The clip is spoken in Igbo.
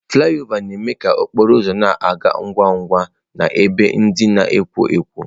Flị ọva na-eme ka okporo ụzọ na-aga ngwa ngwa n'ebe ndị na-ekwo ekwo.